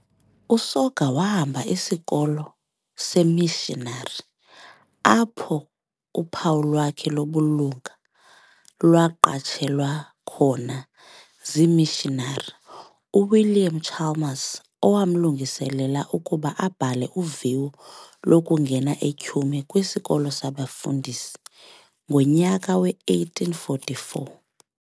USoga wahamba isikolo seemishinari apho uphawu lwakhe lobulunga lwaqatshelwa khona zimishinari, uWilliam Chalmers owamlungiselela ukuba abhale uviwo lokungena eTyhume kwisikolo sabafundisi ngonyaka we-1844.